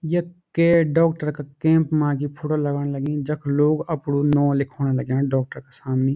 यख के डॉक्टर का कैंप मा यु फोटू लगण लगी जख लोग अपड़ु नौ लिखोण लग्यां डॉक्टर का सामनी।